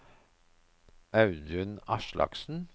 Audun Aslaksen